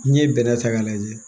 N'i ye bɛnɛ ta k'a lajɛ